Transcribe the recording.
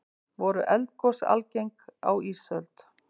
voru eldgos algeng á ísöld